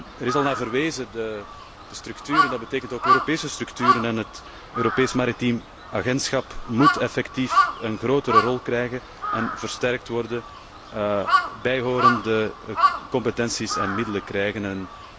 Er is al naar verwezen, de structuur, en dat betekent ook Europese structuren. Het Europees Maritiem Agentschap moet effectief een grotere rol krijgen en versterkt worden, en bijhorende competenties en middelen krijgen.